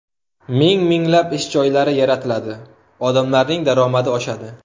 Ming-minglab ish joylari yaratiladi, odamlarning daromadi oshadi.